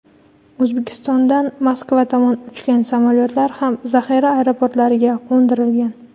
O‘zbekistondan Moskva tomon uchgan samolyotlar ham zaxira aeroportlariga qo‘ndirilgan.